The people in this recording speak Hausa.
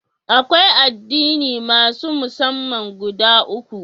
Akwai addini masun massama guda uku.